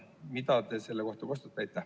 Mida te selle kohta kostate?